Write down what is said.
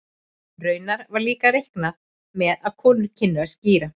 Raunar var líka reiknað með að konur kynnu að skíra.